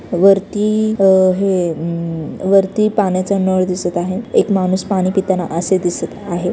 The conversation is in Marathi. वरती अ हे उम वरती पाण्याचा नळ दिसत आहे. एक माणूस पाणी पिताना असे दिसत आहे.